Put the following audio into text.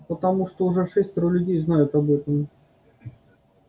потому что уже шестеро людей знают об этом